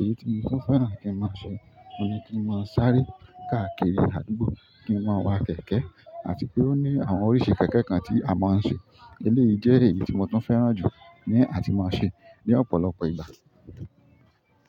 èyí tí mo tún fẹ́ràn kí n máa ṣe, ohun ni kí n máa ṣáré káàkiri àdúgbò, kí n máa wa kẹ̀kẹ́, àti pé ó ní àwọn oríṣi kẹ̀kẹ́ kan tí a máa ń ṣe. Eléyìí jẹ́ èyí tí mo tún fẹ́ràn jù ní àti máa ṣe ní ọ̀pọ̀lọpọ̀ ìgbà.